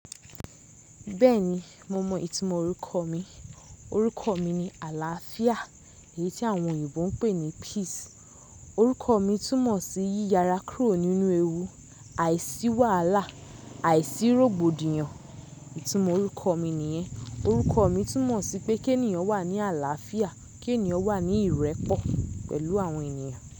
Bẹ́ẹ̀ni, mo mọ ìtumọ̀ orúkọ mi. Orúkọ mi ni Àlàáfíà, èyí tí àwọn òyìnbó ń pè ní Peace. Orúkọ mi túmọ̀ sí yíyara kúrò nínú ewu, àìsí wàhálà, àìsí rògbòdìyàn. Ìtumọ̀ orúkọ mi nìyẹn. Orúkọ mi túmọ̀ sí pé kí ènìyàn wà ní àlàáfíà, kí ènìyàn wà ní ìrẹ́pọ̀ pẹ̀lú àwọn ènìyàn.